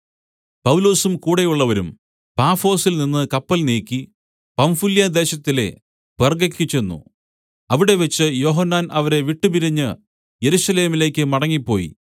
പൗലൊസും കൂടെയുള്ളവരും പാഫൊസിൽനിന്ന് കപ്പൽ നീക്കി പംഫുല്യാദേശത്തിലെ പെർഗ്ഗയ്ക്ക് ചെന്ന് അവിടെവച്ച് യോഹന്നാൻ അവരെ വിട്ടുപിരിഞ്ഞ് യെരൂശലേമിലേക്കു മടങ്ങിപ്പോയി